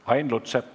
Ain Lutsepp.